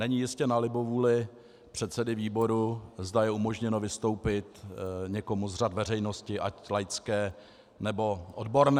Není jistě na libovůli předsedy výboru, zda je umožněno vystoupit někomu z řad veřejnosti, ať laické, nebo odborné.